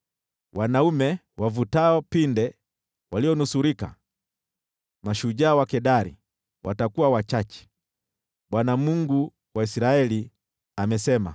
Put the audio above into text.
Wanaume wavutao pinde walionusurika, mashujaa wa Kedari, watakuwa wachache.” Bwana , Mungu wa Israeli, amesema.